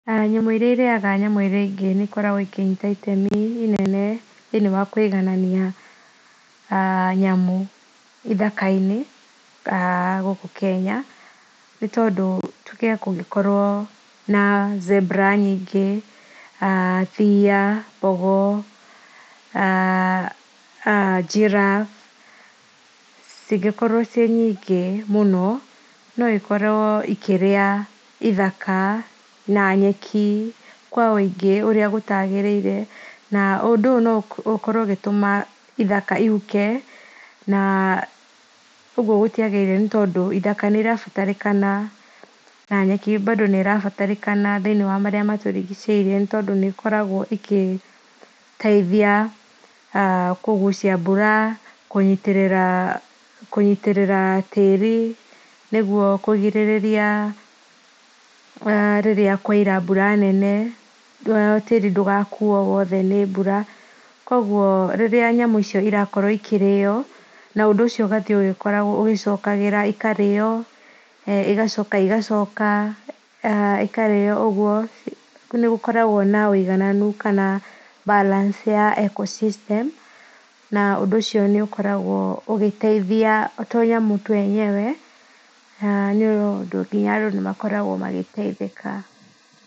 Nyamũ irĩa irĩaga nyamũ ingĩ nĩikoragwo ĩkĩnyĩta itemĩ inene thĩiniĩ wa kũĩgananĩa aah nyamũ ithaka-inĩ gũkũ Kenya, nĩ tondũ tũge kũgĩkorwo na zebra nyingĩ, thĩa, mbogo, [aah]giraffe, cingĩkorwo ciĩ nyingĩ mũno no ikorwo ikĩrĩa ithaka na nyeki kwa wũingĩ ũrĩa gũtaagĩrĩire, na ũndũ ũyũ no ũkorwo ũgĩtũma ithaka ihuke, na ũguo gũtĩagĩrĩire nĩ tondũ ithaka nĩ ĩrabataranĩka na nyeki bado nĩ ĩrabataranĩkana thĩiniĩ wa marĩa matũrigicĩirie, nĩ tondũ nĩkoragwo ĩgĩteithĩa kũgũcia mbura, kũnyĩtĩrĩra kũnyĩtĩrĩra tĩri nĩguo kũgirĩrĩria rĩrĩa kwaura mbura nene tĩri ndũgakuo wothe nĩ mbura, koguo rĩrĩa nyamũ nyamũ icio cirakorwo cikĩrĩo ũndũ ũcio ũgathiĩ ũgakoragwo ũgĩcokagĩra, ikarĩo ĩgacoka ĩgacoka, ũguo nĩgũkorwago na ũigananu kana balance ya ecosystem, na ũndũ ũcio nĩ ũkoragwo ũgĩteithia, o to nyamũ tũ yenyewe, na nĩ ũndũ nginya andũ makoragwo magĩteithĩka.